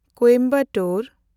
Coimbatore